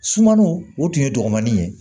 Sumaniw o tun ye dɔgɔmani ye